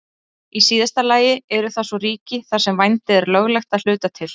Í síðasta lagi eru það svo ríki þar sem vændi er löglegt að hluta til.